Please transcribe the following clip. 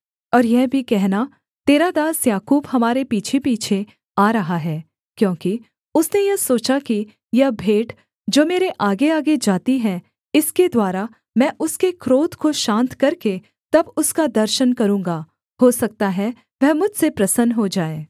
और यह भी कहना तेरा दास याकूब हमारे पीछेपीछे आ रहा है क्योंकि उसने यह सोचा कि यह भेंट जो मेरे आगेआगे जाती है इसके द्वारा मैं उसके क्रोध को शान्त करके तब उसका दर्शन करूँगा हो सकता है वह मुझसे प्रसन्न हो जाए